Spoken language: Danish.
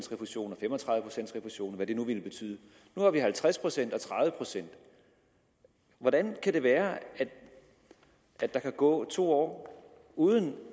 refusion og fem og tredive pcts refusion og hvad det nu ville betyde nu har vi halvtreds procent og tredive procent hvordan kan det være at der kan gå to år uden